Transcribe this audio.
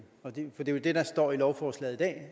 det er jo det der står i lovforslaget i dag